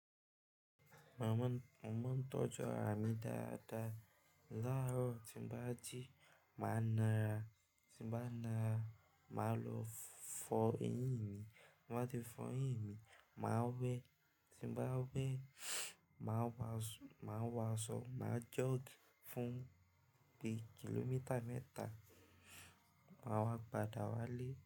Màmá, mo mo ń tọ́jú ara mi dáadáa. Laárọ̀ tí n bá jí, màá náara, tí n bá náara, màá lọ fọ eyín mi. Ti n ba ti fọ eyín mi, màá wẹ́. Tí n bá wẹ́, màá wà, màá wàásọ, màá jog fún bí ì kílómítà mẹ́ta. Màá wá padà wálé.